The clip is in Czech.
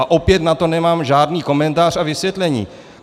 A opět na to nemám žádný komentář a vysvětlení.